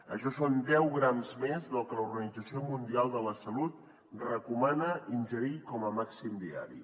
això són deu grams més del que l’organització mundial de la salut recomana ingerir com a màxim diari